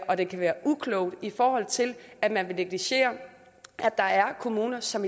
og den kan være uklog i forhold til at man vil negligere at der er kommuner som